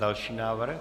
Další návrh?